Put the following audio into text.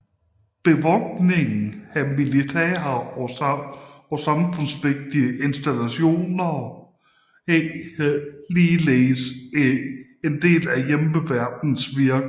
Bevogtning af militære og samfundsvigtige installationer er ligeledes en del af Hjemmeværnets virke